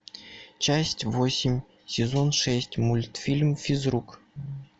часть восемь сезон шесть мультфильм физрук